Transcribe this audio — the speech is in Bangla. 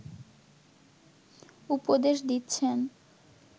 উপদেশ দিচ্ছেন